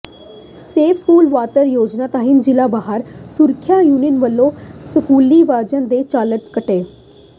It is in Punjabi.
ਸੇਫ਼ ਸਕੂਲ ਵਾਹਨ ਯੋਜਨਾ ਤਹਿਤ ਜ਼ਿਲ੍ਹਾ ਬਾਲ ਸੁਰੱਖਿਆ ਯੂਨਿਟ ਵਲੋਂ ਸਕੂਲੀ ਵਾਹਨਾਂ ਦੇ ਚਲਾਨ ਕੱਟੇ